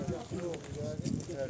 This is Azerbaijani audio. Gəl gəl gəl.